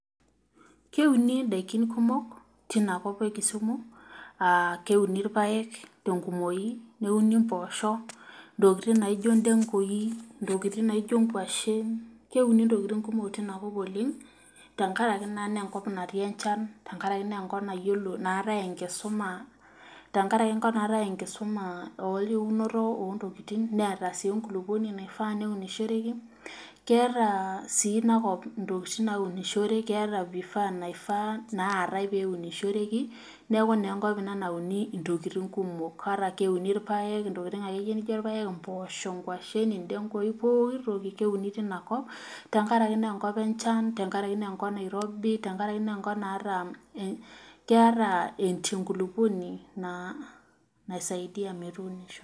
Keuni ndaiki kumok teina kop enkisuma, keuni irpaek te kumoki ,neuni mposho, ntokiting naijo ndegui, ntkiting naijo kwashen ,keuni ntokiting kumok tinakop oleng tenkaraki naa naenkop natii enjan tenkaraki naa nekop naate enkisuma eunoto oontokiting, netaa sii enkulukuoni naifaa neunishoreki, keeta sii inakop fifaa naaifa pee eunishoreki ,neeku naa ina enkop nauni ntokiting kumok keuni pooki toki tinakop tenkaraki naa enkop enchan ,tenkaraki naa enkop nairobi ,tenakaraki naa enkop naata enkulukuoni naisaidia metuunishoi.